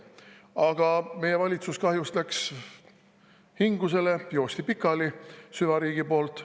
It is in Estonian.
Aga meie valitsus läks kahjuks hingusele, süvariik jooksis selle pikali.